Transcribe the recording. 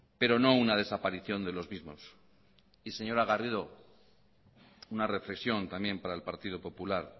pero no una desaparición de los mismos señora garrido una reflexión también para el partido popular